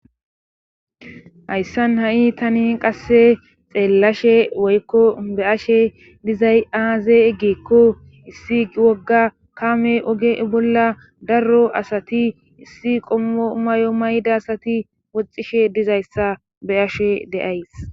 hayssan ha7i tani qasse xeellashe woykko be ashe dizay aazee eggeekko issi wogga kaame oge bolla darro asati issi qoomayo mayda asati woxishe dizayssa beashe deays